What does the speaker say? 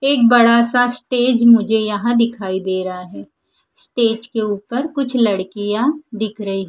एक बड़ा सा स्टेज मुझे यहां दिखाई दे रहा है। स्टेज के ऊपर कुछ लड़कियां दिख रही--